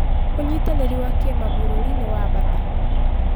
Ũnyitanĩri wa kĩmabũrũri nĩ wa bata.